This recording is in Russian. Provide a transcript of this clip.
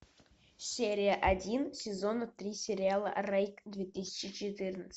серия один сезона три сериала рейк две тысячи четырнадцать